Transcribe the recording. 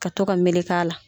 Ka to ka meleke a la.